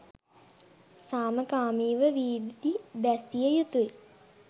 සමාකමීව වීදි බැසිය යුතුයි.